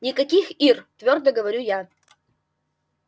никаких ир твёрдо говорю я